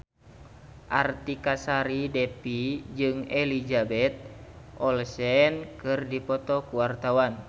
Artika Sari Devi jeung Elizabeth Olsen keur dipoto ku wartawan